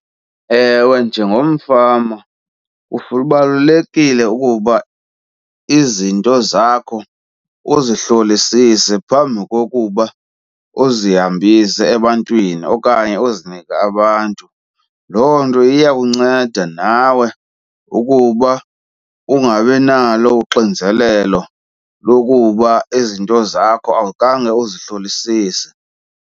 Ewe, njengomfama kubalulekile ukuba izinto zakho uzihlolisise phambi kokuba uzihambise ebantwini okanye uzinike abantu. Loo nto iyakunceda nawe ukuba ungabi nalo uxinzelelo lokuba izinto zakho awukhange uzihlolisise.